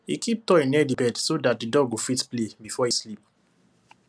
he keep toy near the bed so that the dog go fit play before e sleep